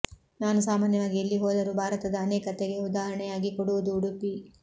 ನಾನು ಸಾಮಾನ್ಯವಾಗಿ ಎಲ್ಲಿ ಹೋದರೂ ಭಾರತದ ಅನೇಕತೆಗೆ ಉದಾಹರಣೆಯಾಗಿ ಕೊಡುವುದು ಉಡುಪಿ